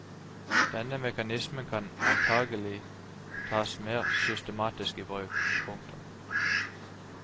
Denne mekanismen kan antakelig tas mer systematisk i bruk. punktum